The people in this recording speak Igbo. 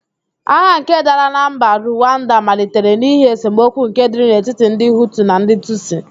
Agha nke dara na mba Ruwanda malitere n'ihi esemokwu nke dịrị n'etiti ndị Hutu na ndì Tusi.